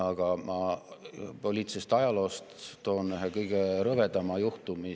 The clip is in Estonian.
Aga ma toon poliitilisest ajaloost esile ühe kõige rõvedama juhtumi.